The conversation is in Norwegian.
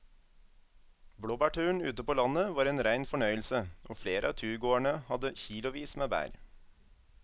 Blåbærturen ute på landet var en rein fornøyelse og flere av turgåerene hadde kilosvis med bær.